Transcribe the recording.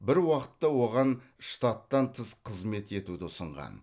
бір уақытта оған штаттан тыс қызмет етуді ұсынған